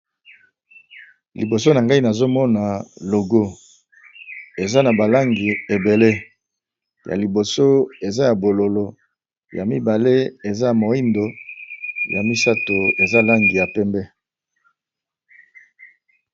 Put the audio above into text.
Liboso na ngai nazomona logo eza na balangi ebele ya liboso eza ya bololo ya mibale eza moindo ya misato eza langi ya pembe.